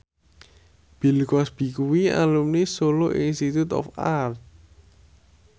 Bill Cosby kuwi alumni Solo Institute of Art